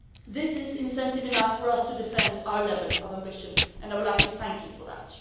This is incentive enough for us to defend our level of ambition and I would like to thank you for that.